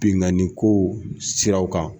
Binkanni kow siraw kan